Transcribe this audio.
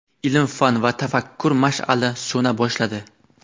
Ilm-fan va tafakkur mash’ali so‘na boshladi.